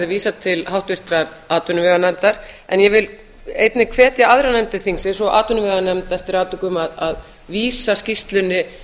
vísað til háttvirtrar atvinnuveganefndar en ég vil einnig hvetja aðrar nefndir þingsins og atvinnuveganefnd eftir atvikum að vísa skýrslunni